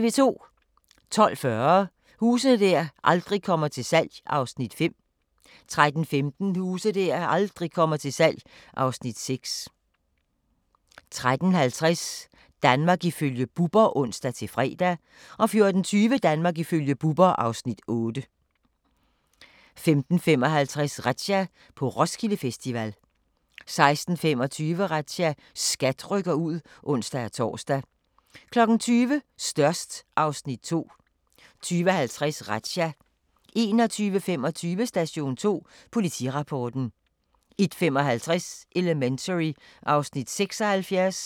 12:40: Huse der aldrig kommer til salg (Afs. 5) 13:15: Huse der aldrig kommer til salg (Afs. 6) 13:50: Danmark ifølge Bubber (ons-fre) 14:20: Danmark ifølge Bubber (Afs. 8) 15:55: Razzia – på Roskilde Festival 16:25: Razzia – SKAT rykker ud (ons-tor) 20:00: Størst (Afs. 2) 20:50: Razzia 21:25: Station 2: Politirapporten 01:55: Elementary (Afs. 76)